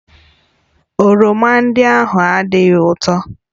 Oroma ndị ahụ adịghị ụtọ